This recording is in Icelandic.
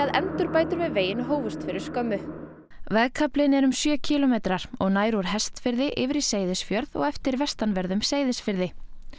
endurbætur á veginum hófust fyrir skömmu vegkaflinn er um sjö kílómetrar og nær úr Hestfirði yfir í Seyðisfjörð og eftir vestanverðum Seyðisfirði